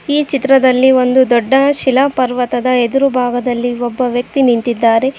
ಈ ಚಿತ್ರದಲ್ಲಿ ಒಂದು ದೊಡ್ಡ ಶಿಲಾ ಪರ್ವತದ ಎದುರು ಭಾಗದಲ್ಲಿ ಒಬ್ಬ ವ್ಯಕ್ತಿ ನಿಂತಿದ್ದಾರೆ.